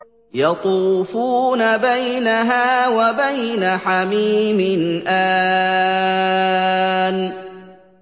يَطُوفُونَ بَيْنَهَا وَبَيْنَ حَمِيمٍ آنٍ